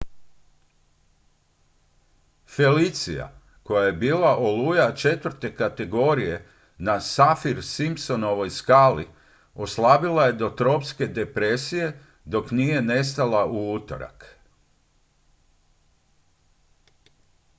felicia koja je bila oluja 4. kategorije na saffir-simpsonovoj skali oslabila je do tropske depresije dok nije nestala u utorak